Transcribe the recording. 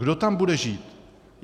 Kdo tam bude žít?